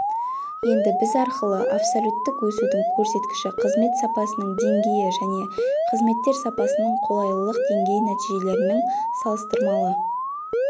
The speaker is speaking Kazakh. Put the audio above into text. енді біз арқылы абсолюттік өсудің көрсеткіші қызмет сапасының деңгейі және қызметтер сапасының қолайлылық деңгейі нәтижелерінің салыстырмалы